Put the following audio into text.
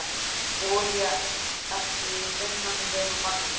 Olía ekki í vinnanlegu magni